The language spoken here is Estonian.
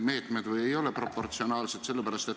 Hetkel me räägime ainult konkreetselt praegusest kellaajast.